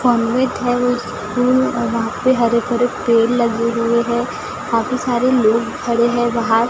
Convent है वो school और वहां पे हरे भरे पेड़ लगे हुए है काफी सारे लोग खड़े है बाहर।